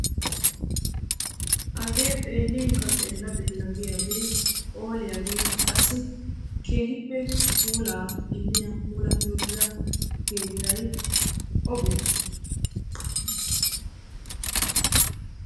Hagee xeellinkka xeella xeella giyagee, phooliyagee qassi keehippe puulaa immiya puulatti uttida keettay obee?